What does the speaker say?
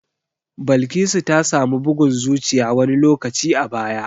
Balkisu ta samu bugun zuciya wani lokaci a baya.